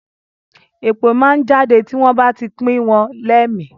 Èpè máa ń jáde tí wọ́n bá ti pìn wọ́n lẹ́mi